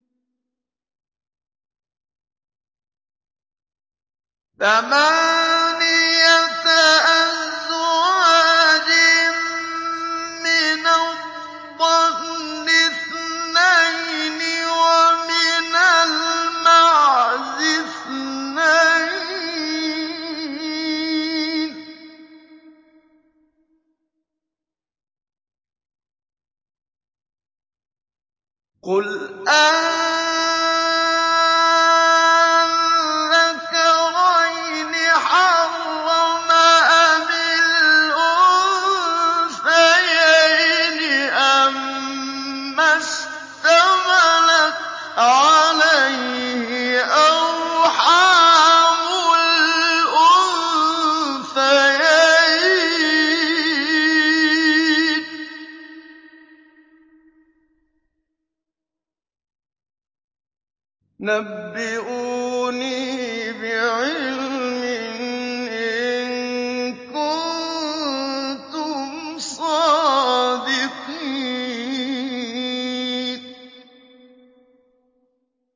ثَمَانِيَةَ أَزْوَاجٍ ۖ مِّنَ الضَّأْنِ اثْنَيْنِ وَمِنَ الْمَعْزِ اثْنَيْنِ ۗ قُلْ آلذَّكَرَيْنِ حَرَّمَ أَمِ الْأُنثَيَيْنِ أَمَّا اشْتَمَلَتْ عَلَيْهِ أَرْحَامُ الْأُنثَيَيْنِ ۖ نَبِّئُونِي بِعِلْمٍ إِن كُنتُمْ صَادِقِينَ